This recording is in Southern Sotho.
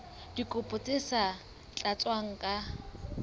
dikopo tse sa tlatswang ka